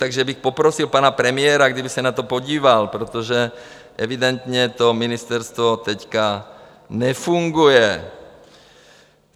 Takže bych poprosil pana premiéra, kdyby se na to podíval, protože evidentně to ministerstvo teďka nefunguje.